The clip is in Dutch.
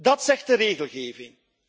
Dat zegt de regelgeving.